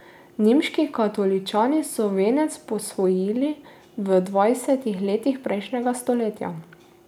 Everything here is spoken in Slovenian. Nemški katoličani so venec posvojili v dvajsetih letih prejšnjega stoletja.